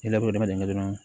I ladon dama dama dɔrɔn